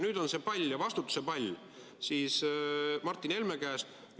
Nüüd on see pall ja vastutuse pall Martin Helme käes.